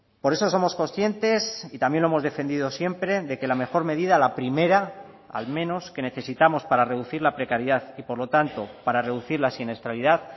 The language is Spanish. por eso somos conscientes y también lo hemos defendido siempre de que la mejor medida la primera al menos que necesitamos para reducir la precariedad y por lo tanto para reducir la siniestralidad